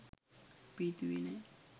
අපි හිතුවේ නෑ.